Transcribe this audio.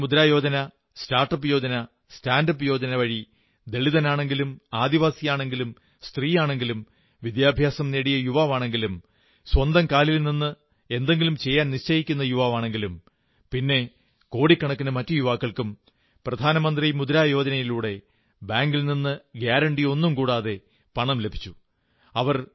പ്രധാനമന്ത്രി Mudra Yojana start up Yojana stand up Yojana വഴി ദളിതനാണെങ്കിലും ആദിവാസിയാണെങ്കിലും സ്ത്രീയാണെങ്കിലും വിദ്യാഭ്യാസം നേടിയ യുവാവാണെങ്കിലും സ്വന്തം കാലിൽ നിന്ന് എന്തെങ്കിലും ചെയ്യാൻ നിശ്ചയിക്കുന്ന യുവാവാണെങ്കിലും പിന്നെ കോടിക്കണക്കിന് മറ്റു യുവാക്കൾക്കും പ്രധാനമന്ത്രി മുദ്രാ യോജനയിലൂടെ ബാങ്കിൽ നിന്ന് ഗാരണ്ടിയൊന്നും കൂടാതെ പണം ലഭിച്ചു